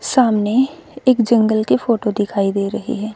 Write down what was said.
सामने एक जंगल की फोटो दिखाई दे रही है।